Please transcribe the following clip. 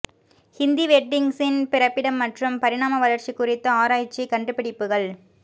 ஹிந்தி வெட்டிங்ஸின் பிறப்பிடம் மற்றும் பரிணாம வளர்ச்சி குறித்த ஆராய்ச்சி கண்டுபிடிப்புகள்